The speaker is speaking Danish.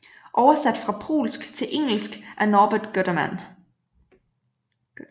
Oversat fra polsk til engelsk af Norbert Guterman